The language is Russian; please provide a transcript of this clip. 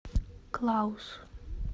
клаус